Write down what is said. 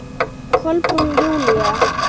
Kolbrún Júlía.